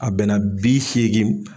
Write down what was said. A bɛnna bi seegin